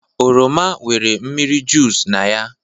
oroma nwere mmiri juic na ya